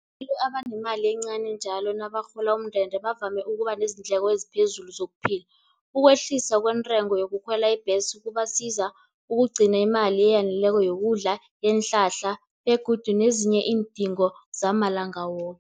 Ngibo abanemali encani njalo nabarhola umndende, bavame ukuba nezindleko eziphezulu zokuphila. Ukwehlisa kwentengo yokukhwela ibhesi, kubasiza ukugcina imali eyaneleko yokudla, yeenhlahla begodu nezinye iindingo zamalanga woke.